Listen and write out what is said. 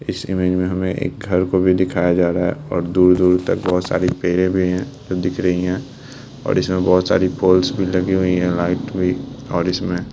इस इमेज मे हमे एक घर को भी दिखाया जा रहा है और दूर-दूर तक बहुत सारी पेड़े भी है जो दिख रही है और इसमे बहुत सारी पोल्स भी लगी हुई है लाइट भी और इसमे --